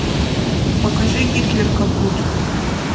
покажи гитлер капут